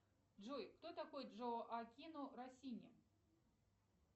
джой кто такой джоаккино россини